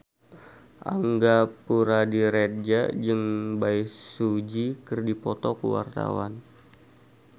Angga Puradiredja jeung Bae Su Ji keur dipoto ku wartawan